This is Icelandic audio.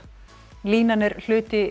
línan er hluti Jinhae